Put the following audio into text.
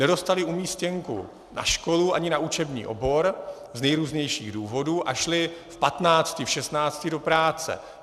Nedostaly umístěnku na školu ani na učební obor, z nejrůznějších důvodů, a šly v patnácti, v šestnácti do práce.